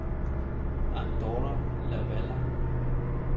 Andorra la Vella